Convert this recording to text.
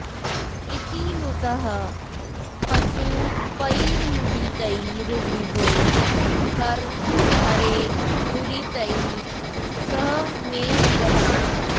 इति नुतः पशुपैर्मुदितैर्विभो हर हरे दुरितैः सह मे गदान्